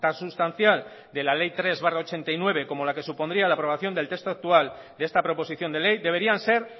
sustancial de la ley tres barra mil novecientos ochenta y nueve como la que supondría la aprobación del texto actual de esta proposición de ley deberían ser